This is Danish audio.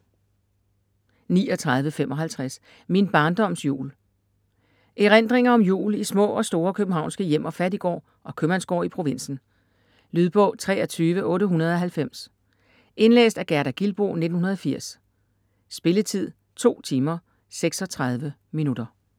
39.55 Min barndoms jul Erindringer om jul i små og store københavnske hjem og fattiggård og købmandsgård i provinsen. Lydbog 23890 Indlæst af Gerda Gilboe, 1980. Spilletid: 2 timer, 36 minutter.